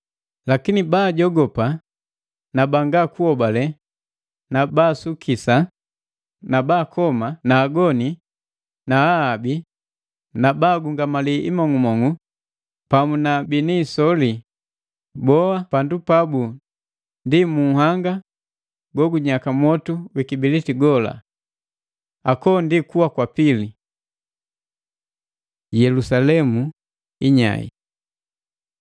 Lakini baajogopa, banga kuhobale, baasukisa na bakoma na agoni na ahabi na ba agungamali imong'umong'u na pamu na bini isoli boa na pandu pabu ndi mu nhanga go gujaka mwotu wi kibiliti gola. Ako ndi kuwa kwa pili.” Yelusalemu inyae